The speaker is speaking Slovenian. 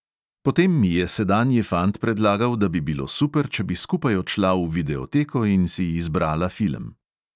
Potem mi je sedanji fant predlagal, da bi bilo super, če bi skupaj odšla v videoteko in si izbrala film.